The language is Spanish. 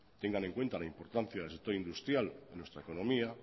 tengan en cuenta la importancia del sector industrial y de nuestra economía